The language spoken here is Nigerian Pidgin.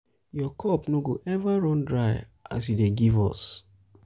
your um cup no go eva um run dry as you dey give us.